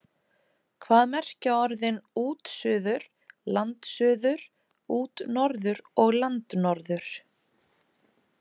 Hvað merkja orðin útsuður, landsuður, útnorður og landnorður?